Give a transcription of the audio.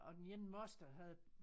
Og den ene moster havde